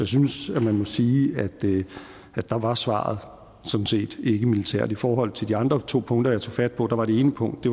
synes at man må sige at der var svaret sådan set ikkemilitært i forhold til to andre punkter jeg tog fat på var det ene punkt